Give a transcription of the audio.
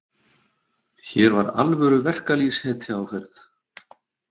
Hér var alvöru verkalýðshetja á ferð.